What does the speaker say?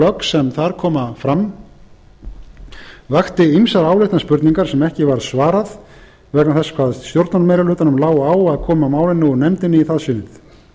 plögg sem þar koma fram vöktu ýmsar áleitnar spurningar sem ekki varð svarað vegna þess hvað stjórnarmeirihlutanum lá mikið á að koma málinu úr nefndinni í það sinnið